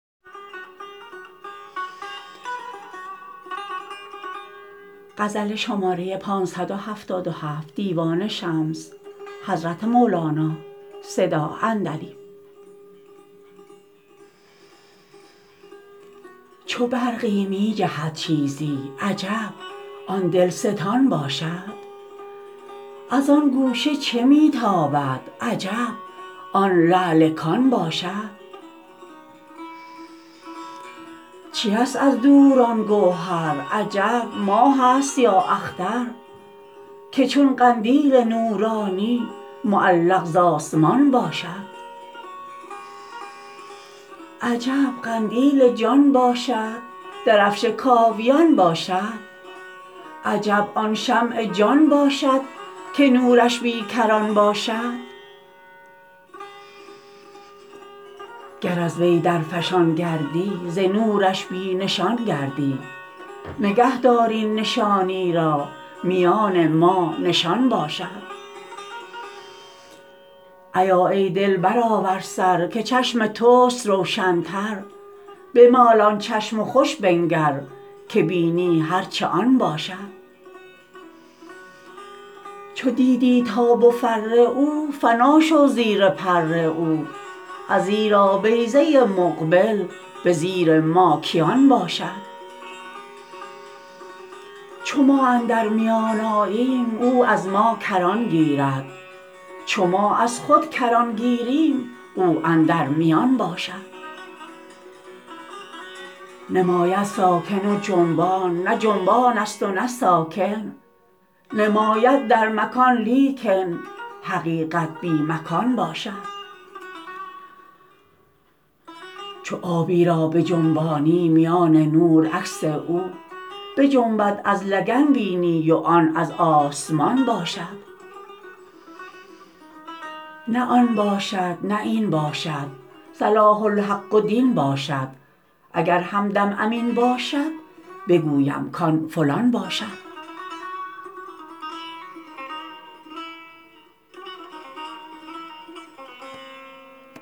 چو برقی می جهد چیزی عجب آن دلستان باشد از آن گوشه چه می تابد عجب آن لعل کان باشد چیست از دور آن گوهر عجب ماهست یا اختر که چون قندیل نورانی معلق ز آسمان باشد عجب قندیل جان باشد درفش کاویان باشد عجب آن شمع جان باشد که نورش بی کران باشد گر از وی درفشان گردی ز نورش بی نشان گردی نگه دار این نشانی را میان ما نشان باشد ایا ای دل برآور سر که چشم توست روشنتر بمال آن چشم و خوش بنگر که بینی هر چه آن باشد چو دیدی تاب و فر او فنا شو زیر پر او ازیرا بیضه مقبل به زیر ماکیان باشد چو ما اندر میان آییم او از ما کران گیرد چو ما از خود کران گیریم او اندر میان باشد نماید ساکن و جنبان نه جنبانست و نه ساکن نماید در مکان لیکن حقیقت بی مکان باشد چو آبی را بجنبانی میان نور عکس او بجنبد از لگن بینی و آن از آسمان باشد نه آن باشد نه این باشد صلاح الحق و دین باشد اگر همدم امین باشد بگویم کان فلان باشد